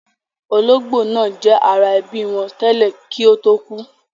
Ológbò náà jẹ́ ara ẹbí wọn tẹ́lẹ̀ kí ó tó kú